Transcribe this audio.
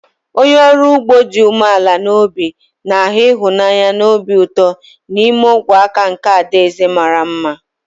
Onye ọrụ ugbo dị umeala n'obi na-ahụ ịhụnanya na obi ụtọ n'ime ogwe aka nke adaeze mara mma.